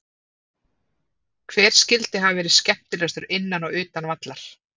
Hver skyldi hafa verði skemmtilegastur innan og utan vallar?